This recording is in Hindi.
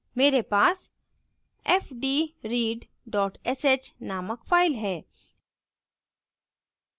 मैरे पास fdread dot sh named file है